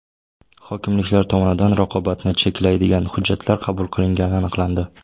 Hokimliklar tomonidan raqobatni cheklaydigan hujjatlar qabul qilingani aniqlandi.